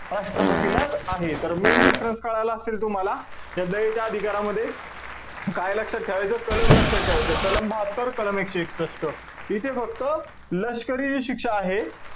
राष्ट्रपतीलाच आहे. तर main difference कळाला असेल तुम्हाला. दयेच्या अधिकारामध्ये, काय लक्षात ठेवायचं? कलम लक्षात ठेवायचं. कलम बहात्तर, कलम एकशे एकसष्ट. इथे फक्त लष्करी जी शिक्षा आहे,